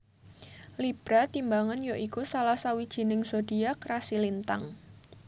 Libra timbangan ya iku salah sawijining zodiak rasi lintang